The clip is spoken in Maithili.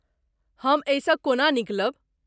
हम एहिसँ कोना निकलब?